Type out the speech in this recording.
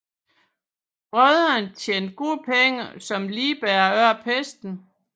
Brødrene tjente gode penge som ligbærere under pesten